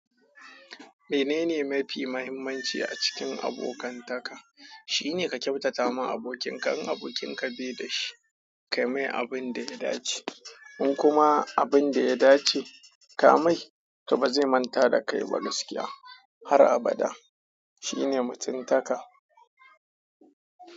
Menene mafi muhimmanci a cikin abokantaka? Shi ne ka kyautata ma abokin ka in abokin ka bai da shi, ka mai abin da ya dace. In kuma abin da ya dace ka mai, to ba zai manta da kai ba gaskiya har abada. Shi ne mutuntaka.